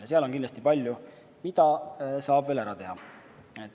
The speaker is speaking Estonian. Ja seal on kindlasti palju, mida saab veel ära teha.